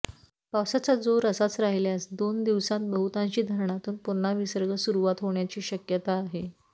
पावसाचा जोर असाच राहिल्यास दोन दिवसांत बहुतांशी धरणातून पुन्हा विसर्ग सुरुवात होण्याची शक्यता आहे